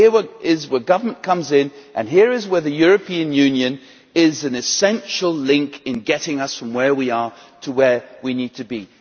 here is where government comes in, and here is where the European Union is an essential link in getting us from where we are to where we need to be.